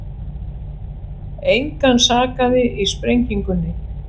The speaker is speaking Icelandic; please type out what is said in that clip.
Engan sakaði í sprengingunni